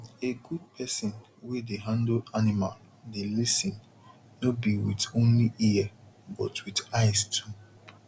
a good person wey dey handle animal dey lis ten no be with only ear but with eyes too